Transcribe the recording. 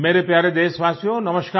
मेरे प्यारे देशवासियो नमस्कार